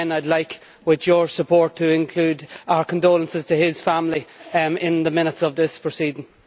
Again, I would like with your support to include our condolences to his family in the minutes of these proceedings.